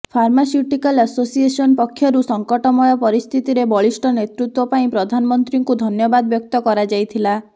pharmaceutical association ପକ୍ଷରୁ ସଂକଟମୟ ପରିସ୍ଥିତିରେ ବଳିଷ୍ଠ ନେତୃତ୍ୱ ପାଇଁ ପ୍ରଧାନମନ୍ତ୍ରୀଙ୍କୁ ଧନ୍ୟବାଦ ବ୍ୟକ୍ତ କରାଯାଇଥିଲା